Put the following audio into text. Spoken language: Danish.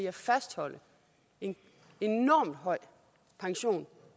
at fastholde en enormt høj pension